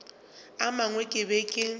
a mangwe ke be ke